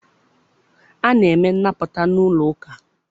A na-eme nnapụta n'ụlọ ụka.